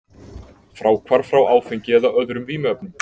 Fráhvarf frá áfengi eða öðrum vímuefnum.